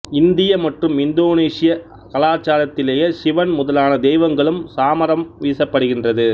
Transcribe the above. இந்திய மற்றும் இந்தோனேசியா கலாசாரத்திலே சிவன் முதலான தெய்வங்களுக்கு சாமரம் வீசப்படுகின்றது